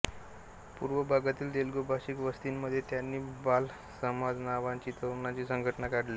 पूर्व भागातील तेलुगु भाषिक वस्तीमध्ये त्यांनी बालसमाज नांवाची तरुणांची संघटना काढली होती